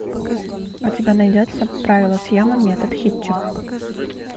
у тебя найдется правила съема метод хитча